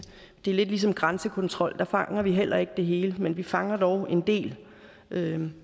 det er lidt ligesom grænsekontrol der fanger vi heller ikke det hele men vi fanger dog en del